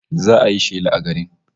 Za'a yi shela a garin